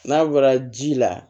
N'a bɔra ji la